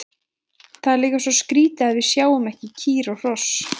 Það er líka svo skrítið að við sjáum ekki kýr og hross.